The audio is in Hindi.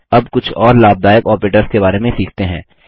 अब कुछ और लाभदायक ऑपरेटर्स के बारे में सीखते हैं